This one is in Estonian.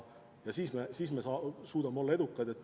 Siis me suudame olla edukad.